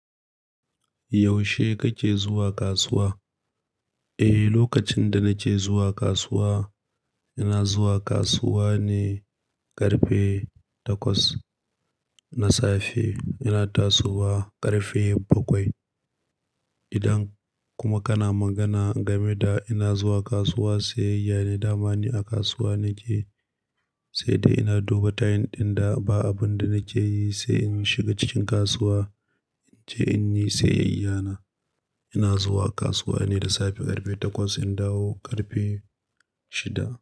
Yaushe kake zuwa kasuwa? Eh, lokacin da na ce zuwa kasuwa, ina zuwa kasuwa ne ƙarfe takwas na safe. Ina tasowa ƙarfe bakwai. Idan kuma kana magana game da ina zuwa kasuwa, sayayya ne dama ni a kasuwa na ke. Sai dai ina duba tayin ɗin da ba abun da na ke yi sai in shiga cikin kasuwa in je in yi sayayyana. Ina zuwa kasuwa ne da safe ƙarfe takwas, in dawo ƙarfe shida.